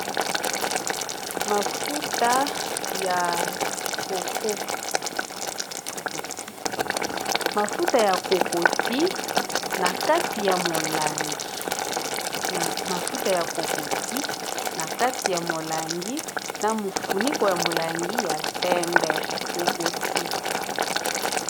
Mafuta ya kokoti na kati ya molangi na mofuniko ya molangi ya mpembe kokoti.